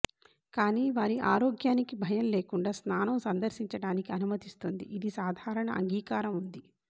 కానీ వారి ఆరోగ్యానికి భయం లేకుండా స్నానం సందర్శించడానికి అనుమతిస్తుంది ఇది సాధారణ అంగీకారం ఉంది